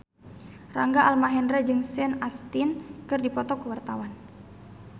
Rangga Almahendra jeung Sean Astin keur dipoto ku wartawan